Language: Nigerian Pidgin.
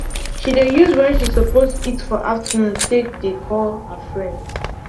she dey use wen she suppose eat for afternoon take de call her friends